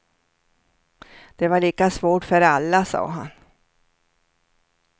Det var lika svårt för alla, sade han.